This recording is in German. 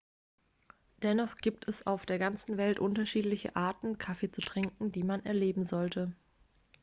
dennoch gibt es auf der ganzen welt viele unterschiedliche arten kaffee zu trinken die man erleben sollte